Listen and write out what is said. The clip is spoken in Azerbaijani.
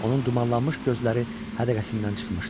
Onun dumanlanmış gözləri hədəqəsindən çıxmışdı.